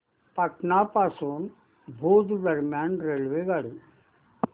पाटण पासून भुज दरम्यान रेल्वेगाडी